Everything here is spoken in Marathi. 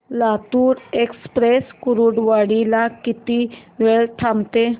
लातूर एक्सप्रेस कुर्डुवाडी ला किती वेळ थांबते